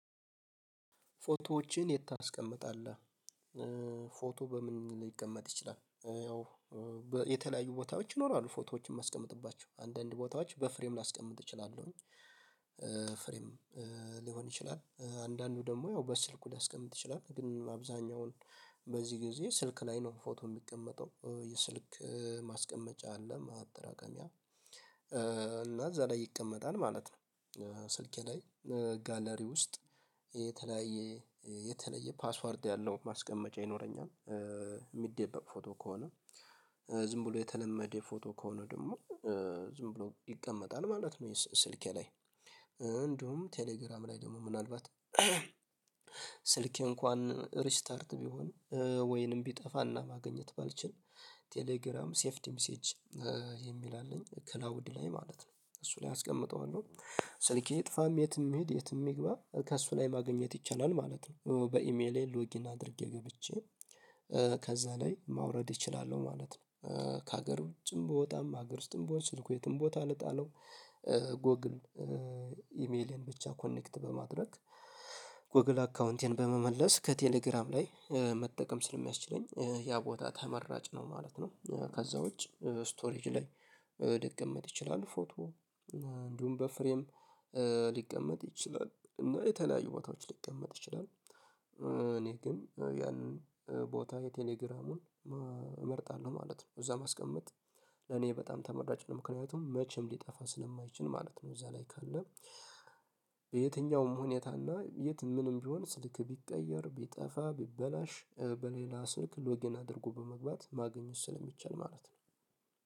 ፎቶዎችን የት ታስቀምጣለህ? ፎቶ በምን ሊቀመጥ ይችላል ያው የተለያዩ ቦታዎች ይኖራሉ ፎቶዎችን የማስቀምጥባቸው አንዳንድ ቦታዎች በፍሬም ላስቀምጥ እችላለሁኝ። ፍሬም ሊሆን ይችላል አንዳንዱ ደግሞ ያው በስልኩ ሊያስቀምጥ ይችላል ግን አብዛኛውን በዚህ ጊዜ ስልክ ላይ ነው ፎቶ የሚቀመጠው የስልክ ማስቀመጫ አለ ማጠራቀሚያ እና እዛ ላይ ይቀመጣል ማለት ነው። ስልኬ ላይ ጋለሪ ውስጥ የተለያየ የተለየ ፓስዋርድ ያለው ማስቀመጫ ይኖረኛል የሚደበቅ ፎቶ ከሆነ ዝም ብሎ የተለመደ የፎቶ ከሆነ ደግሞ ዝም ብሎ ይቀመጣል ማለት ነው። ይሄ ስልኬ ላይ እንደውም ቴሌግራም ላይ ደግሞ ምናልባት ስልኬ እንኳን ሪስታርት ቢሆን ወይንም ቢጠፋና ማግኘት ባልችል ቴሌግራም ሴቭድ ሚሴጅ የሚል አለኝ ክላውድ ላይ ማለት ነው እሱ ላይ አስቀምጠዋለሁ ስልኬ ጥፋም የትም የትም ይግባ ከእሱ ላይ ማግኘት ይቻላል ማለት ነው በኢሜሌ ሎጊን አድርጌ ገብቼ ከዛ ላይ ማውረድ እችላለሁ ማለት ነው። ከሀገር ውጭም ብወጣም ሀገር ውስጥም ብሆን ስልኩ የትም ቦታ ልጣለው ጎግል ኢሜሌን ብቻ ኮኔክት በማድረግ ጎግል አካውንቴን በመመለስ ከቴሌግራም ላይ መጠቀም ስለሚያስችለኝ ያ ቦታ ተመራጭ ነው ማለት ነው። ከዛ ውጭ ስቶሬጅ ላይ ሊቀመጥ ይችላል ፎቶ እንዲሁም በፍሬም ሊቀመጥ ይችላል እና የተለያዩ ቦታዎች ሊቀመጥ ይችላል። እኔ ግን ያንን ቦታ የቴሌግራሙን እመርጣለሁ ማለት ነው እዛ ማስቀመጥ ለኔ በጣም ተመርዳጭ ምክንያቱም መቼም ሊጠፋ ስለማይችል ማለት ነው። እዛ ላይ ካለ በየትኛውም ሁኔታና የት ምንም ቢሆን ስልክ ቢቀየር ቢጠፋ ቢበላሽ በሌላ ስልክ ሎግኢን አድርጎ በመግባት ማግኘት ስለሚቻል ማለት ነው